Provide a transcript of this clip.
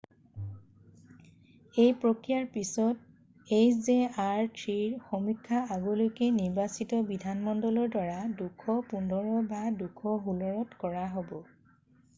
এই প্ৰক্ৰিয়াৰ পিছত hjr-3ৰ সমীক্ষা আগলৈকে নিৰ্বাচিত বিধানমণ্ডলৰ দ্বাৰা 2015 বা 2016ত কৰা হব।